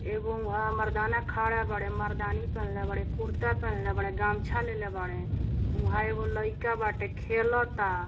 एगो उहां मरदाना खड़ा बाड़े मर्दानी पहनले बाड़े कुर्ता पहनले बाडे गमछा लेले बाड़े उहां एगो लइका बाटे खेलता।